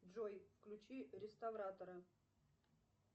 джой включи реставратора